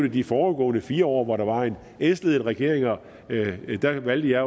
i de foregående fire år hvor der var en s ledet regering der valgte jeg